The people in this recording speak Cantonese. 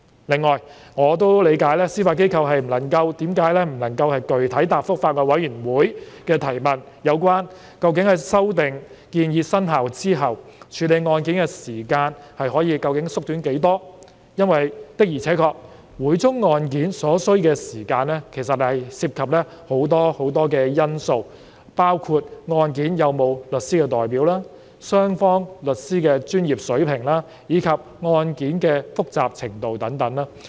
另外，我亦理解司法機構為何不能具體答覆法案委員會的提問，說明修訂建議生效後處理案件的時間究竟可以縮短多少，因為每宗案件所需時間的確涉及很多因素，包括有否律師代表、雙方律師的專業水平，以及案件的複雜程度等。